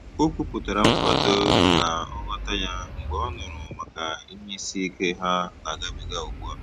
O kwupụtara nkwado na nghọta ya mgbe ọ nụrụ maka ihe isiike ha na-agabiga ugbu a